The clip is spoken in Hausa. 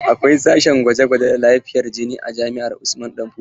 Akwai sashen gwaje-gwaje da lafiyar jini a jami'ar Usman danfodiyo.